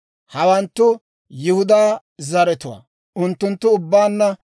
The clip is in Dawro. Hawanttu Yihudaa zaratuwaa; unttunttu ubbaanna 76,500.